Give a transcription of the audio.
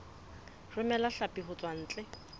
romela hlapi ho tswa ntle